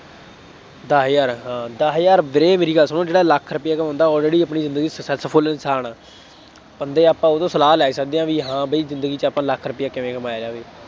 ਦਸ ਹਜ਼ਾਰ ਹਾਂ ਦਸ ਹਜ਼ਾਰ, ਵੀਰੇ ਮੇਰੀ ਗੱਲ ਸੁਣੋ, ਜਿਹੜਾ ਲੱਖ ਰੁਪਇਆ ਕਮਾਉਂਦਾ already ਆਪਣੀ ਜ਼ਿੰਦਗੀ ਚ successful ਇਨਸਾਨ ਹੈ, ਬੰਦੇ ਆਪਾਂ ਉਹ ਤੋਂ ਸਲਾਹ ਲੈ ਸਕਦੇ ਹਾਂ ਬ, ਹਾਂ ਬਈ ਜ਼ਿੰਦਗੀ ਚ ਆਪਾਂ ਲੱਖ ਰੁਪਇਆ ਕਿਵੇਂ ਕਮਾਇਆ ਜਾਵੇ।